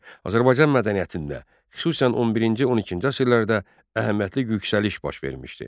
Azərbaycan mədəniyyətində, xüsusən 11-12-ci əsrlərdə əhəmiyyətli yüksəliş baş vermişdi.